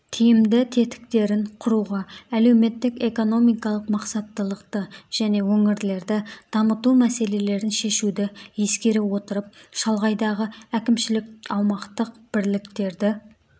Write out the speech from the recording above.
тиімді тетіктерін құруға әлеуметтік-экономикалық мақсаттылықты және өңірлерді дамыту мәселелерін шешуді ескере отырып шалғайдағы әкімшілік-аумақтық бірліктерді